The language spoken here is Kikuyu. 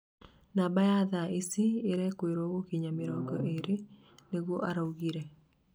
namba iyo thaa ici irekũĩrwo gũkinya mĩrongo ĩrĩ," nĩguo araugire